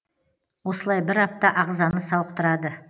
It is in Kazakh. осылай бір апта ағзаны сауықтырады